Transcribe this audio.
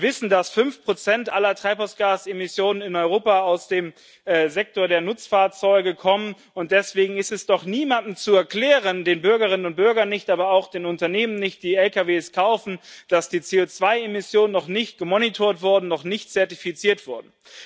Wir wissen, dass 5 aller Treibhausgasemissionen in Europa aus dem Sektor der Nutzfahrzeuge kommen, und deswegen ist es doch niemandem zu erklären den Bürgerinnen und Bürgern nicht, aber auch den Unternehmen nicht, die Lkw kaufen dass die CO2 Emissionen noch nicht überwacht wurden, noch nicht zertifiziert wurden.